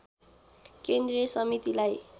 केन्द्रीय समितिलाई